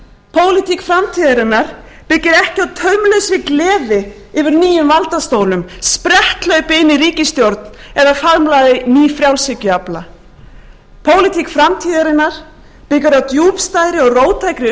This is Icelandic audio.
pólitík framtíðarinnar byggir ekki á taumlausri gleði yfir nýjum valdastólum spretthlaupi inn í ríkisstjórn eða faðmlagi nýfrjálshyggjuafla pólitík framtíðarinnar byggir á djúpstæðri og róttækri